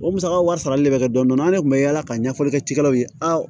O musaka wari sarali le bɛ kɛ dɔndɔnna an de kun bɛ yaala ka ɲɛfɔli kɛ cikɛlaw ye a